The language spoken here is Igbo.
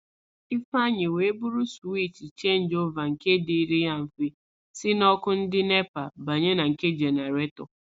Ifeanyi nweburu suwich chenjiova nke dịrị ya mfe ísī n' ọ́kụ́ ndị NEPA banye na nke jeneretọ.